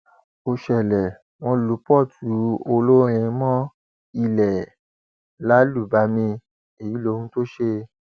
ó ṣẹlẹ wọn lu port olórin mọ ilé ẹ lálùbami èyí lohun tó ṣe